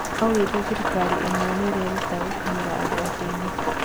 Aũgete thirikari imwe niirerutera gũkinyĩra andũ athĩni